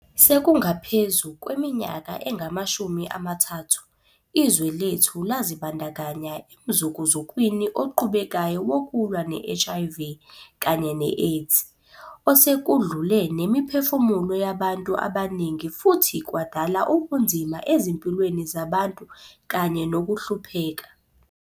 Sekungaphezu kweminyaka engamashumi amathathu, izwe lethu lazibandakanya emzukuzukwini oqhubekayo wokulwa ne-HIV kanye ne-AIDS, osekudlule nemiphefumulo yabantu abaningi futhi kwadala ubunzima ezimpilweni zabantu kanye nokuhlupheka.